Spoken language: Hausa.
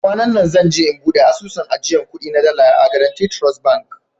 Kwananna zan je in bude asusun ajiyan kudi na dala a " guarantee trust bank".